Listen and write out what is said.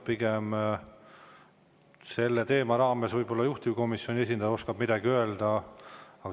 Pigem võib selle teema raames võib-olla juhtivkomisjoni esindaja midagi öelda.